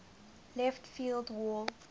left field wall